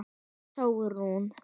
Þín Sólrún.